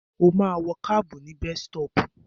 Ó ma wọ kábù ní bestọ́pù.